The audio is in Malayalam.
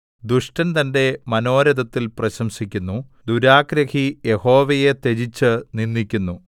ദുഷ്ടൻ തന്റെ മനോരഥത്തിൽ പ്രശംസിക്കുന്നു ദുരാഗ്രഹി യഹോവയെ ത്യജിച്ച് നിന്ദിക്കുന്നു